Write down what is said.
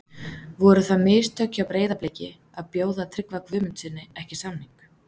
Voru það mistök hjá Breiðabliki að bjóða Tryggva Guðmundssyni ekki samning?